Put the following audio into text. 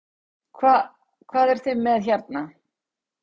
Hvað, hvað eruð þið með hérna?